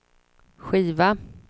skiva